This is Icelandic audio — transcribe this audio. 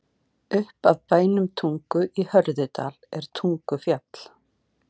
Upp af bænum Tungu í Hörðudal er Tungufjall.